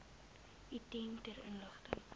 item ter inligting